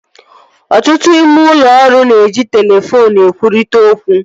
Ọtụtụ ime ụlọ ọrụ na-eji telefoonu ekwurịta okwu